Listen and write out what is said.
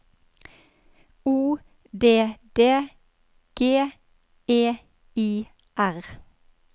O D D G E I R